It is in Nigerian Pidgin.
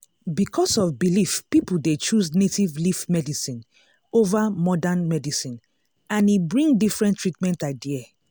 because of belief people dey choose native leaf medicine over modern medicine and e bring different treatment idea.